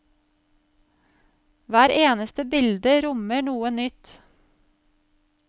Hvert eneste bilde rommer noe nytt.